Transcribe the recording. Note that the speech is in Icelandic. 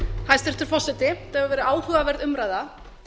hæstvirtur forseti þetta hefur verið áhugaverð umræða